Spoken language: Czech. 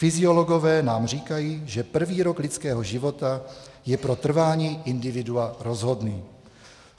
fysiologové nám říkají, že prvý rok lidského života je pro trvání individua rozhodný.